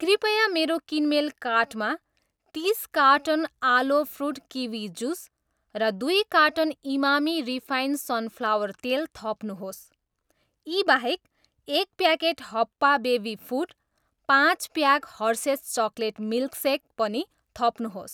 कृपया मेरो किनमेल कार्टमा तिस कार्टन आलो फ्रुट किवी जुस र दुई कार्टन इमामी रिफाइन सनफ्लावर तेल थप्नुहोस्। यी बाहेक, एक प्याकेट हप्पा बेबी फुड, पाँच pack Hershey's chocolate milk shake पनि थप्नुहोस्।